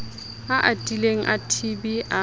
a atileng a tb a